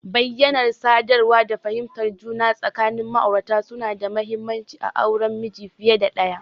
Bayyanar sadarwa da fahimtar juna tsakanin ma'aurata suna da mahimmanci a auren miji fiye da ɗaya.